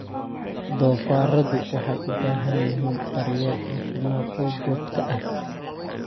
Doofaarradu waxay u baahan yihiin daryeel caafimaad oo joogto ah.